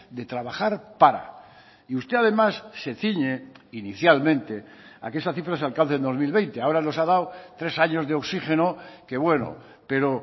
de trabajar para y usted además se ciñe inicialmente a que esa cifra se alcance en dos mil veinte ahora nos ha dado tres años de oxígeno que bueno pero